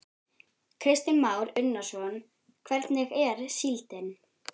Kristján Már Unnarsson: Hvernig er síldin?